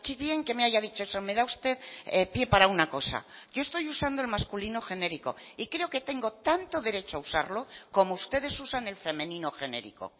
bien que me haya dicho eso me da usted pie para una cosa yo estoy usando el masculino genérico y creo que tengo tanto derecho a usarlo como ustedes usan el femenino genérico